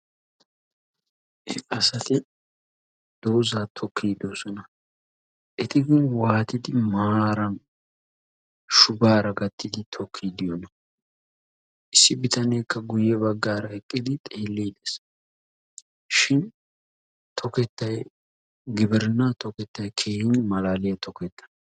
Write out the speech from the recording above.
Asati dooza tokkiidi doosona. eti gin waatidi maaran shubaara gattidi tokkiidi diyonaa? Issi bitaneekka guyye baggaara eqqidi xeelliidi Des. Shin gtokettay gibrinna toketay keehin malaaliya toketta.